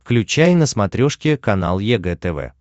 включай на смотрешке канал егэ тв